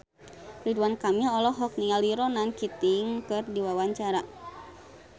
Ridwan Kamil olohok ningali Ronan Keating keur diwawancara